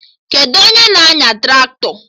Kedụ onye na-anya Traktọ?